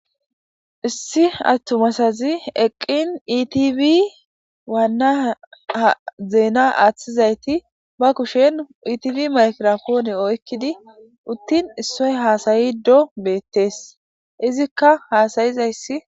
Issi attumasazi eqqin itibi waanna zeena aaththizayti ba kushen itibi makrapoone oykkidi uttin issoy haasayi do beettees izikka haasayizayssi.